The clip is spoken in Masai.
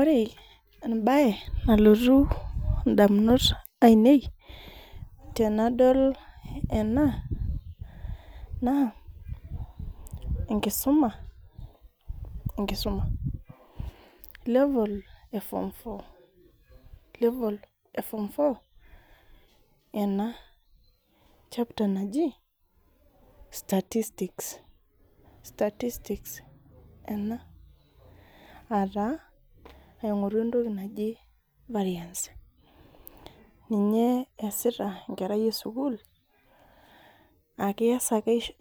Ore embae nalotu ndamunot ainei tenadol ena, naa enkisuma. Level e form four. level e form four ena chapter naji statistics aa taa aingoru entoki naji variance ninye eesita enkerai esukul ,aa